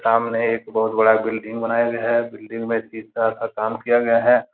सामने एक बहुत बड़ा बिल्डिंग बनाया गया है बिल्डिंग में शीशा का काम किया गया है।